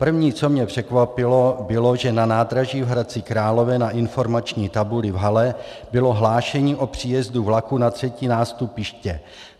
První, co mě překvapilo, bylo, že na nádraží v Hradci Králové na informační tabuli v hale bylo hlášení o příjezdu vlaku na třetí nástupiště.